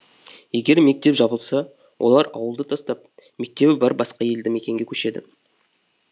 егер мектеп жабылса олар ауылды тастап мектебі бар басқа елді мекенге көшеді